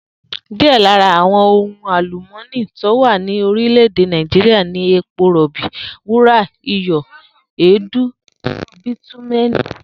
Díè̩ lára àwo̩n ohun àlùmó̩nì tó wà ní orílè̩-èdè Nàìjíríà ni epo rò̩bi, wúrà, iyò̩, èédú bítúmé̩è̩nì